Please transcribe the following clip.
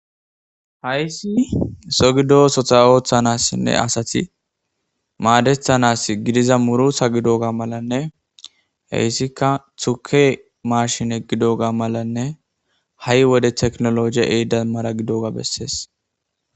hayssi so gido sotha ooththanassinne asati maadethanas gidiza murutha gidoga malanne heyssikka thuke maashine gidoga malanne ha7i wode teknoloje ehida mara gidoga bessees.